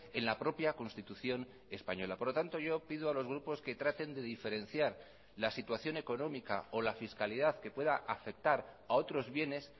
en la propia constitución española por lo tanto yo pido a los grupos que traten de diferenciar la situación económica o la fiscalidad que pueda afectar a otros bienes